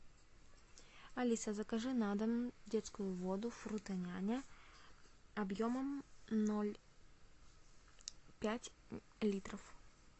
алиса закажи на дом детскую воду фрутоняня объемом ноль пять литров